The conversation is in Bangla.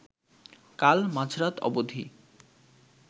কাল মাঝরাত অবধি